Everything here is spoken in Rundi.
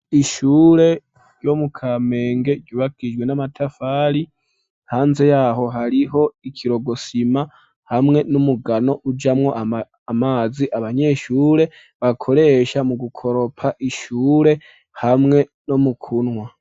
Ishure ryo mu kamenge ryubakijwe n'amatafari, hanze yaho hariho ikiroko sima hamwe n'umugano ujamwo amazi abanyeshure bakoresha mu gukoropa ishure hamwe no mu kunwa.